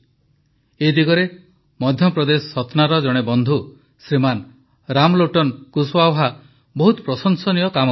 ଏ ଦିଗରେ ମଧ୍ୟପ୍ରଦେଶ ସତ୍ନାର ଜଣେ ବନ୍ଧୁ ଶ୍ରୀମାନ ରାମଲୋଟନ କୁଶୱାହା ବହୁତ ପ୍ରଶଂସନୀୟ କାମ କରିଛନ୍ତି